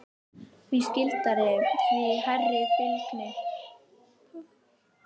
Því skyldari, því hærri fylgni.